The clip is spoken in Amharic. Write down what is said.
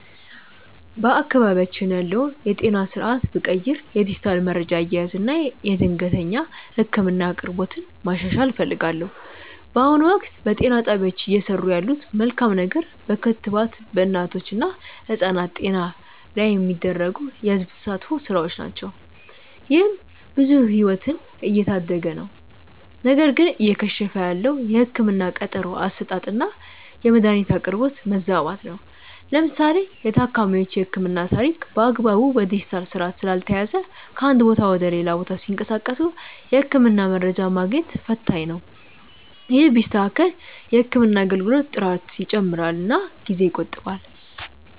በአካባቢያችን ያለውን የጤና ስርዓት ብቀይር የዲጂታል መረጃ አያያዝን እና የድንገተኛ ህክምና አቅርቦትን ማሻሻል እፈልጋለሁ። በአሁኑ ወቅት፣ በጤና ጣቢያዎች እየሰሩ ያለት መልካም ነገር በክትባት በእናቶች እና ህጻናት ጤና ላይ የሚደረጉ የህዝብ ተሳትፎ ስራዎች ናቸው። ይህም ብዙ ህይወትን እየታደገ ነው። ነገር ግን እየከሸፈ ያለው የህክምና ቀጠሮ አሰጣጥና የመድኃኒት አቅርቦት መዛባት ነው። ለምሳሌ የታካሚዎች የህክምና ታሪክ በአግባቡ በዲጂታል ስርዓት ስላልተያያዘ ከአንድ ቦታ ወደ ሌላ ቦታ ሲንቀሳቀሱ የህክምና መረጃ ማግኘት ፈታኝ ነው። ይህ ቢስተካከል የህክምና አገልግሎት ጥራት ይጨምርና ጊዜ ይቆጥባል።